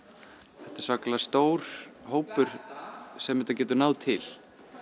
þetta er svakalega stór hópur sem þetta getur náð til